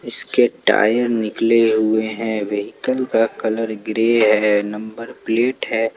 इसके टायर निकले हुए हैं व्हीकल का कलर ग्रे है नंबर प्लेट है।